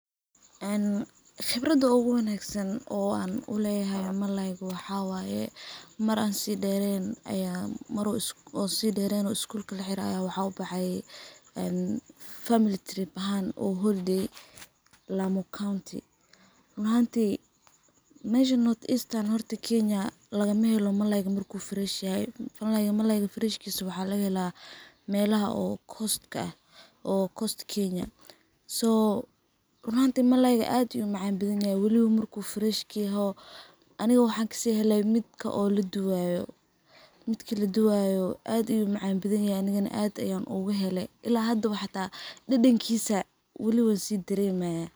Een khibrada ugu wanagsan oo an u leyahay malayga waxaa waye, mar an si dheren ayaa mar oo si dheren oo skulka laxirey ayaan waxaan ubexe een family trip ahaan oo holidsy Lamu County. Run ahanti meshan North Eastern horta Kenya lagamaahelo malayga marku fresh yahay , Malaygu freshkisa waxaa lagahelaa melaha oo coaska ah oo Coast Kenya. So run ahanti malayga ad ayuu u macan bathanyahay waliba marku fresh yahao , aniga waxan kasihele midka oo laduwayo, midka laduwayo ad ayu macan bathan yahay aniga ad an ayan ugahele, ila hadaba xita dadankisa weli wansi daremaya.